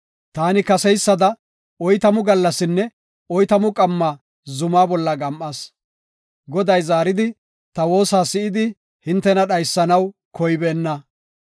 Taani kaseysada oytamu gallasinne oytamu qamma zumaa bolla gam7as. Goday zaaridi ta woosa si7idi hintena dhaysanaw koybeenna.